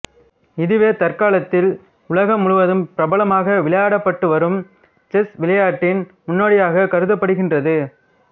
இதுவே தற்காலத்தில் உலகம் முழுதும் பிரபலமாக விளையாடப்பட்டுவரும் செஸ் விளையாட்டின் முன்னோடியாகக் கருதப்படுகின்றது